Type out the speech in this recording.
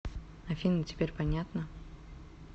афина теперь понятно